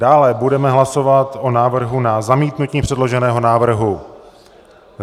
Dále budeme hlasovat o návrhu na zamítnutí předloženého návrhu.